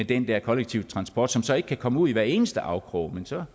den der kollektive transport som så ikke kan komme ud i hver eneste afkrog men så